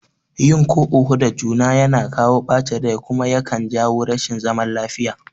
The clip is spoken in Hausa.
Yin ko oho da juna yakan kawo ɓacin rai kuma yakan jawo rashin zaman lafiya